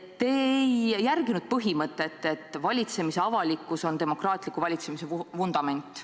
Te ei järginud põhimõtet, et valitsemise avalikkus on demokraatliku valitsemise vundament.